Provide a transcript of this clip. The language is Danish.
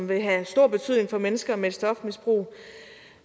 vil have stor betydning for mennesker med et stofmisbrug